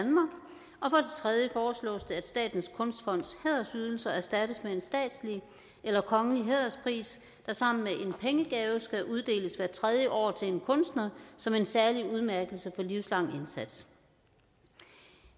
tredje foreslås det at statens kunstfonds hædersydelser erstattes med en statslig eller kongelig hæderspris der sammen med en pengegave skal uddeles hvert tredje år til en kunstner som en særlig udmærkelse for livslang indsats